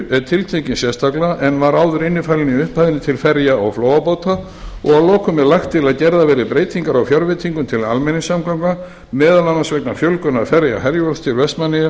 er tiltekinn sérstaklega en var áður innifalinn í upphæðinni til ferja og flóabáta og að lokum er lagt til að gerðar verði breytingar á fjárveitingum til almenningssamgangna meðal annars vegna fjölgunar ferða herjólfs til vestmannaeyja